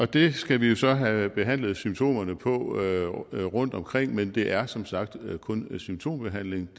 det skal vi jo så have behandlet symptomerne på rundtomkring men det er som sagt kun en symptombehandling